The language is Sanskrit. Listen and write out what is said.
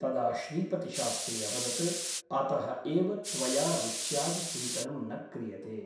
तदा श्रीपतिशास्त्री अवदत् अतः एव त्वया रुच्यादिचिन्तनं न क्रियते ।